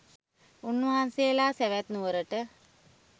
උන්වහන්සේලා සැවැත් නුවරට